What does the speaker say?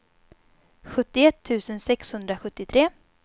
sjuttioett tusen sexhundrasjuttiotre